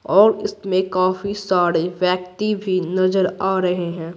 और इसमें काफी सारे व्यक्ति भी नजर आ रहे हैं।